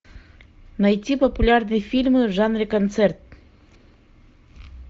найти популярные фильмы в жанре концерт